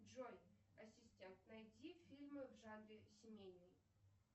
джой ассистент найди фильмы в жанре семейный